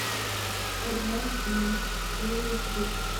однажды ночью серия тридцать